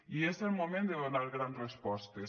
i és el moment de donar grans respostes